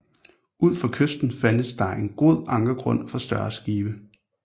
Ud for kysten fandtes der en god ankergrund for større skibe